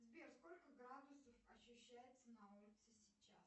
сбер сколько градусов ощущается на улице сейчас